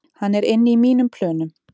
Hann er inni í mínum plönum